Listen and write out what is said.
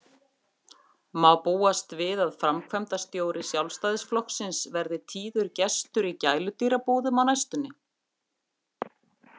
Má búast við að framkvæmdastjóri Sjálfstæðisflokksins verði tíður gestur í gæludýrabúðum á næstunni?